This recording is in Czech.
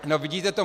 No, vidíte to.